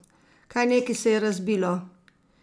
Kaj neki se je razbilo?